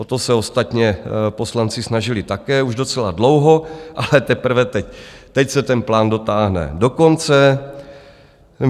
O to se ostatně poslanci snažili také už docela dlouho, ale teprve teď se ten plán dotáhne do konce.